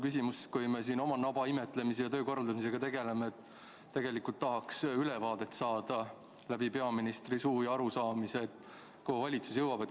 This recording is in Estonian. Kui me siin juba oma naba imetlemise ja töö korraldamisega tegeleme, siis tegelikult tahaks peaministri suu läbi ülevaadet, kuhu valitsus jõudnud on.